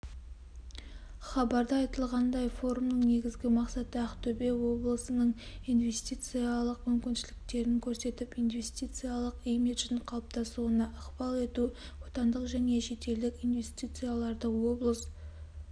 хабарда айтылғандай форумның негізгі мақсаты ақтөбе облысыныңинвестициялық мүмкіншіліктерін көрсетіп инвестициялық имиджін қалыптасуына ықпал ету отандық және шетелдік инвестицияларды облыс